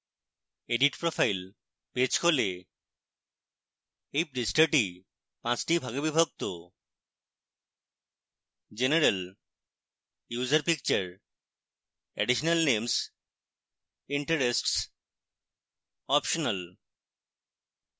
edit profile page খোলে